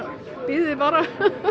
bíðiði bara